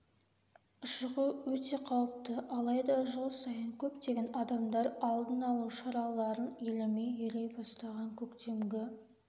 шығу өте қауіпті алайда жыл сайын көптеген адамдар алдын алу шараларын елемей ери бастаған көктемгі